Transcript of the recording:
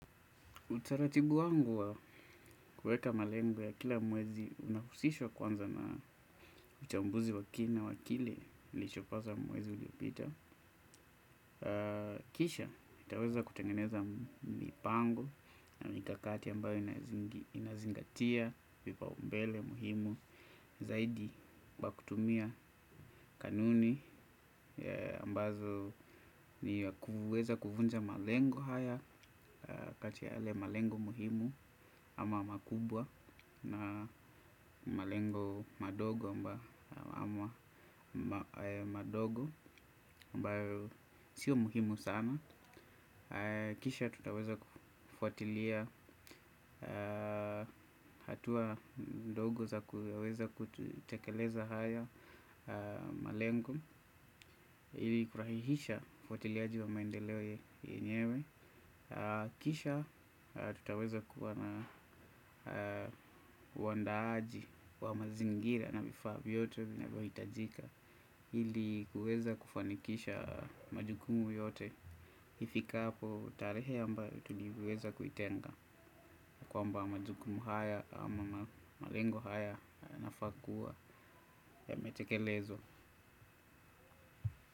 Utaratibu wangu wa kuweka malengo ya kila mwezi unahusishwa kwanza na uchambuzi wa kiini na wa kile lichopaza mwezi uliopita. Kisha, itaweza kutengeneza mipango na mikakati ambayo inazingatia, vipa umbele muhimu, zaidi wa kutumia kanuni ambazo ni kuviweza kuvunja malengo haya, kati ya yale malengo muhimu ama makubwa. Na malengo madogo amba madogo ambayo sio muhimu sana. Kisha tutaweza kufuatilia hatua mdogo za kuweza kutekeleza haya malengo. Ili kurahihisha ufuatiliaji wa maendeleo yenyewe. Kisha tutaweza kuwa na uwandaaji wa mazingira na vifaa vyote vinavohitajika. Hili kuweza kufanikisha majukumu yote. Ifikahapo tarehe ambayo tuliweza kuitenga. Kwamba majukumu haya ama malengo haya yanafaa kuwa yametekelezwa.